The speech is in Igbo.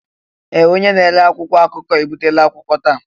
Ee! Onye na-ere akwụkwọ akụkọ ebutela akwụkwọ taa.